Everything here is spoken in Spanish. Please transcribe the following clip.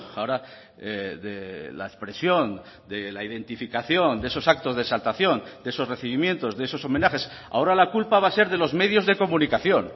ahora de la expresión de la identificación de esos actos de exaltación de esos recibimientos de esos homenajes ahora la culpa va a ser de los medios de comunicación